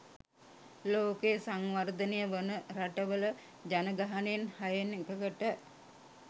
ලෝකයේ සංවර්ධනය වන රටවල ජනගහනයෙන් හයෙන් එකකට